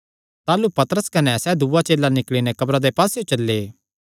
ताह़लू पतरस कने सैह़ दूआ चेला निकल़ी नैं कब्रा दे पास्सेयो चल्ले